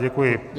Děkuji.